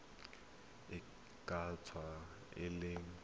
e ka tswa e le